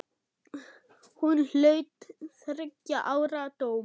Hún hlaut þriggja ára dóm.